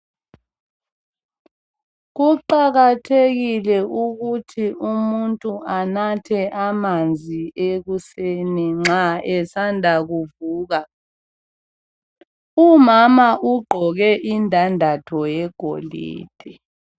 kuqakathekile ukuthi umuntu anathe amanzi ekuseni nxa esanda kuvuka umama ugqoke indandatho yegolide